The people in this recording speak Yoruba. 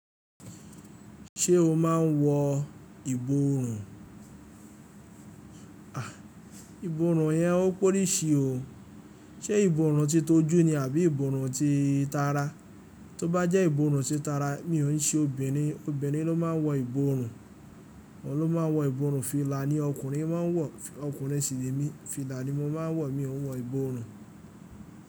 Ṣé o máa ń wọ ìborùn? Ìborùn yẹn ó póríṣi o. Ṣé ìborùn ti tọ́ jú ni àbí ìborùn ti tara? Tí ó bá jẹ́ ìborùn ti tara, mi ò ń ṣe obìnrin, obìnrin ló máa ń wọ ìborùn, òun ló máa ń wọ ìborùn. Fìlà ni ọkùnrin máa ń wọ, ọkùnrin sì ni mí, fìlà ni mo máa ń wọ, mi ò ń wọ ìborùn.